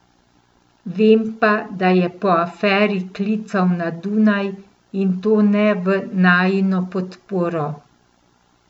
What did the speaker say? Vem pa, da je po aferi klical na Dunaj, in to ne v najino podporo.